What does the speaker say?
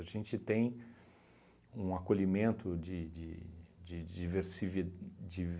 A gente tem um acolhimento de de de de diservi